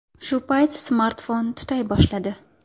Shu payt smartfon tutay boshladi.